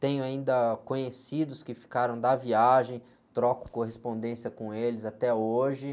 Tenho ainda conhecidos que ficaram da viagem, troco correspondência com eles até hoje.